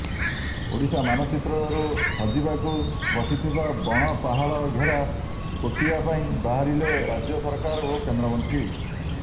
ଓଡିଶା ମାନଚିତ୍ରରୁ ହଜିବାକୁ ବସିଥିବା ବଣ ପାହାଡ ଘେରା କୋଟିଆ ପାଇଁ ବାହାରିଲେ ରାଜ୍ୟ ସରକାର ଓ କେନ୍ଦ୍ରମନ୍ତ୍ରୀ